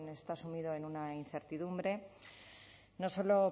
está sumido en una incertidumbre no solo